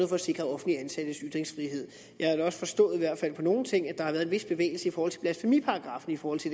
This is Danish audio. for sikre offentligt ansattes ytringsfrihed jeg har da også forstået i hvert fald på nogle ting at der har været en vis bevægelse i forhold til blasfemiparagraffen hos